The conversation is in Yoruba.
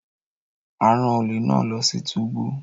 A ran ole náà lọ sí túbú